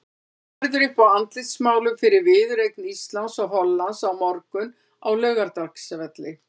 Boðið verður upp á andlitsmálun fyrir viðureign Íslands og Hollands á morgun á Laugardalsvelli.